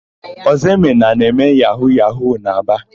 Ọzọemena na-eme yahu-yahu n'Aba.